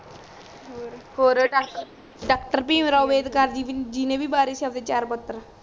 ਔਰ ਔਰ doctor doctor Bhim Rao Ambedkar ji ਨੇ ਵੀ ਵਾਰੇ ਸੀ ਅਪਣੇ ਚਾਰ ਪੁਤਰ